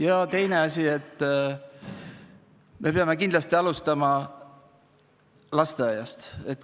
Ja teine asi, me peame kindlasti alustama lasteaiast.